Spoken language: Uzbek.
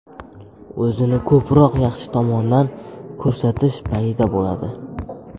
O‘zini ko‘proq yaxshi tomondan ko‘rsatish payida bo‘ladi.